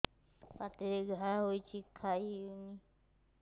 ପାଟିରେ ଘା ହେଇଛି ଖାଇ ହଉନି